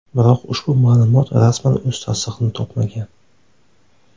Biroq ushbu ma’lumot rasman o‘z tasdig‘ini topmagan.